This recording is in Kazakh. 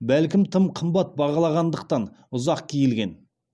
бәлкім тым қымбат бағаланғандықтан ұзақ киілген